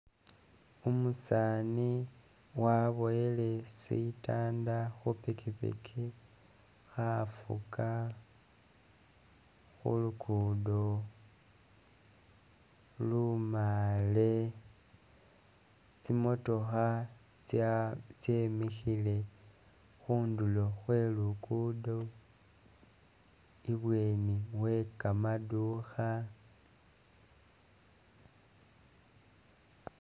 Umusaani waboyele sitanda khupikipiki khafuga khulugudo lumaale tsimotookha tsya tsemikhile khundulo khwe lugudo i'bweni wekamadukha